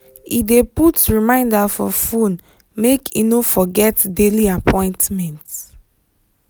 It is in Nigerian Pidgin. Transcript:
he dey put reminder for phone make he no forget daily appointment.